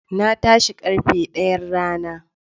Na tashi da karfe daya rana.